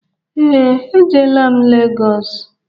Ee, ejelaa m Legọs